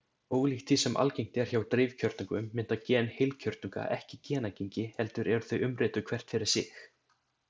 Ólíkt því sem algengt er hjá dreifkjörnungum mynda gen heilkjörnunga ekki genagengi heldur eru þau umrituð hvert fyrir sig.